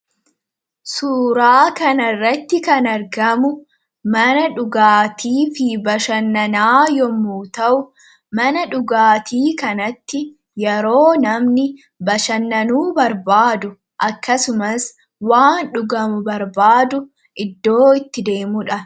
Suuraa kanarratti kan argamu mana dhugaatii fi bashannanaa yoo ta'u, mana dhugaatii kanatti yeroo namni bashannanuu barbaadu akkasumas waan dhugamu barbaadu iddoo itti deemudha.